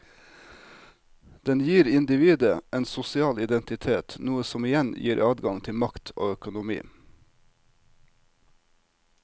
Den gir individet en sosial identitet, noe som igjen gir adgang til makt og økonomi.